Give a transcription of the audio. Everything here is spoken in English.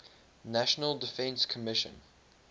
national defense commission